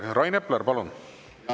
Rain Epler, palun!